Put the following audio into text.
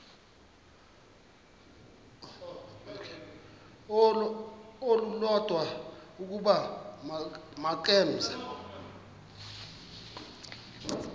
olulodwa ukuba makeze